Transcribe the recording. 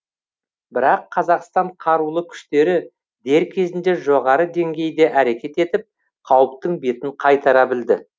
бірақ қазақстан қарулы күштері дер кезінде жоғары деңгейде әрекет етіп қауіптің бетін қайтара білді